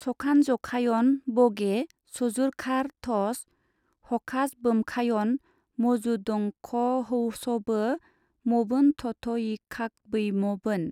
सखानजखायन बगे सजुरखार थस हखाजबोमखायन मजुदंखहौसबो मबोनथथयिखाखबैमबोन।